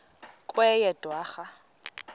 kweyedwarha